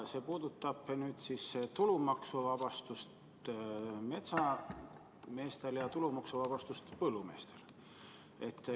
See puudutab metsameeste ja põllumeeste tulumaksuvabastust.